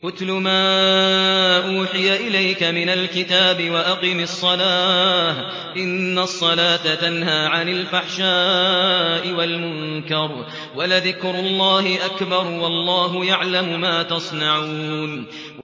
اتْلُ مَا أُوحِيَ إِلَيْكَ مِنَ الْكِتَابِ وَأَقِمِ الصَّلَاةَ ۖ إِنَّ الصَّلَاةَ تَنْهَىٰ عَنِ الْفَحْشَاءِ وَالْمُنكَرِ ۗ وَلَذِكْرُ اللَّهِ أَكْبَرُ ۗ وَاللَّهُ يَعْلَمُ مَا تَصْنَعُونَ